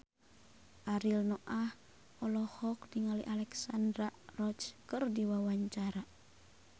Ariel Noah olohok ningali Alexandra Roach keur diwawancara